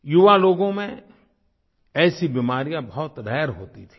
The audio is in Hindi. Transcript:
युवा लोगों में ऐसी बीमारियाँ बहुत रारे होती थीं